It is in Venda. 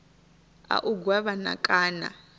a u gwevha na kana